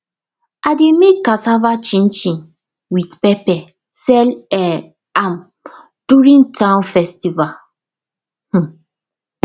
i dey make cassava chinchin with pepper sell um am during town festival um